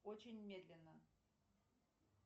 очень медленно